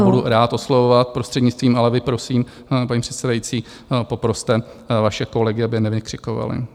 Já budu rád oslovovat prostřednictvím, ale vy prosím, paní předsedající, poproste vaše kolegy, aby nevykřikovali.